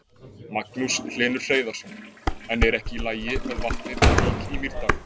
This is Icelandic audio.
Magnús Hlynur Hreiðarsson: En er ekki í lagi með vatnið í Vík í Mýrdal?